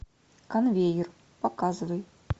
конвейер показывай